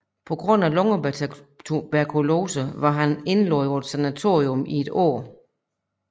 På grund af lungetuberkulose var han indlagt på sanatorium i et år